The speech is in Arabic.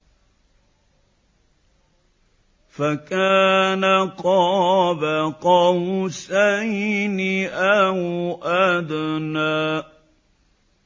فَكَانَ قَابَ قَوْسَيْنِ أَوْ أَدْنَىٰ